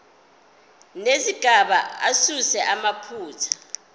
nezigaba asuse amaphutha